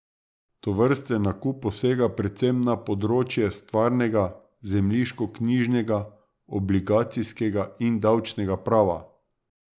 Tovrsten nakup posega predvsem na področje stvarnega, zemljiškoknjižnega, obligacijskega in davčnega prava.